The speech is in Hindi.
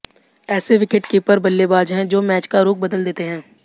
ऐसे विकेटकीपर बल्लेबाज हैं जो मैच का रुख बदल देते हैं